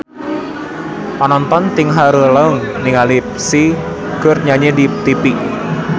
Panonton ting haruleng ningali Psy keur nyanyi di tipi